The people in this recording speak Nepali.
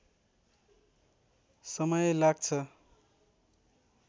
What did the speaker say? समय लाग्छ